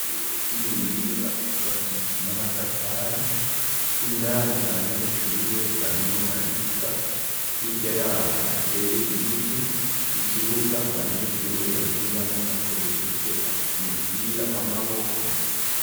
Ishure ry'imuyinga ryubakishijwe n'amatafari indani abanyeshure barimwo bariga hirya yaho hateye ibiti ikibuga abanyeshure bakiniramwo bakoresheje umupira w'amaboko